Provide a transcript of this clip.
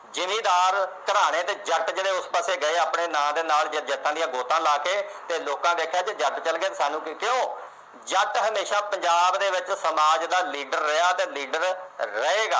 ਜਿੰਮੀਦਾਰ ਘਰਾਣੇ ਦੇ ਜੱਟ ਜਿਹੜੇ ਉਸ ਪਾਸੇ ਗਏ ਆਪਣੇ ਨਾਂ ਦੇ ਨਾਲ ਦੀਆਂ ਗੋਤਾਂ ਲਾ ਕੇ ਤੇ ਲੋਕਾਂ ਦੇਖਿਆ ਕਿਹਾ ਜੱਟ ਚਲੇ ਗਏ ਸਾਨੂੰ ਕੀ ਕਿਉ ਜੱਟ ਹਮੇਸ਼ਾ ਪੰਜਾਬ ਦੇ ਵਿਚ ਸਮਾਜ ਦਾ ਲੀਡਰ ਰਿਹਾ ਤੇ ਲੀਡਰ ਰਹੇਗਾ